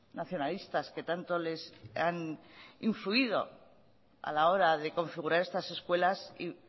nacionalistas que tanto les han influido a la hora de configurar estas escuelas y